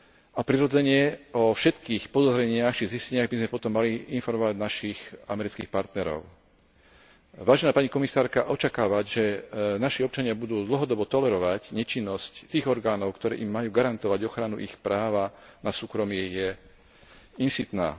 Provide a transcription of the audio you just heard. A, prirodzene, o všetkých podozreniach či zisteniach by sme potom mali informovať našich amerických partnerov. Vážená pani komisárka, očakávať, že naši občania budú dlhodobo tolerovať nečinnosť ich orgánov, ktoré im majú garantovať ochranu ich práva na súkromie, je insitné.